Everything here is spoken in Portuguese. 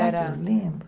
era lembro lembro